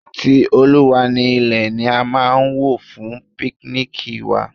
Ti Olúwa ni ilẹ̀ ni a máa wò fún píknìkì wa.